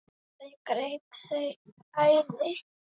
Það greip þau æði.